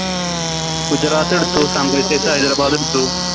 ഗുജറാത്തെടുത്തു Sunrisers hyderabad എടുത്തു